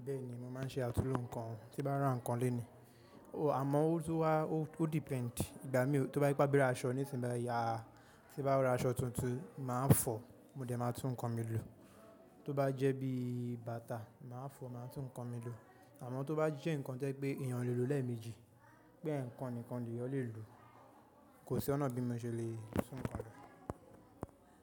Bẹ́ẹ̀ni, mo máa ń ṣe àtulò ǹkan tí bá rà ǹkan lèní. Àmọ́ ó tó wá ó depend. Ìgbà mí tó bá ti bá bírà aṣọ nísìnyí bá ya, tí bá ra aṣọ tuntun màá fọ, mo dẹ̀ ma tún ǹkan mi lò. Tó bá jẹ́ bí bàtà màá fọ, màá tún ǹkan mi lò. Àmọ́ tó bá jẹ́ ǹkan tí ẹ pé èèyàn lè lò lẹ́ẹ̀ẹ̀mejì, pé ǹkan nìkan eyan lè lò, kò sí ọ̀nà bí mo ṣe lè lò só ǹkan mìíràn.